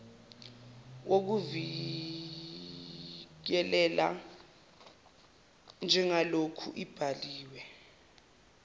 wokuvikeleka njengaloku ibhaliwe